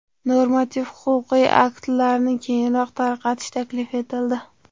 Normativ-huquqiy aktlarni kengroq tarqatish taklif etildi.